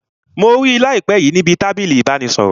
Mo rí láìpé níbi tábìlì ìbánisọ̀rọ̀